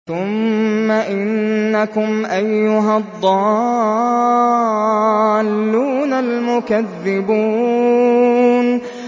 ثُمَّ إِنَّكُمْ أَيُّهَا الضَّالُّونَ الْمُكَذِّبُونَ